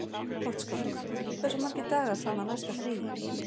Gottskálk, hversu margir dagar fram að næsta fríi?